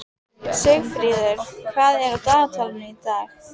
Sigfríður, hvað er í dagatalinu í dag?